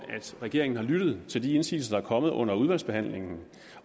regeringen har lyttet til de indsigelser der er kommet under udvalgsbehandlingen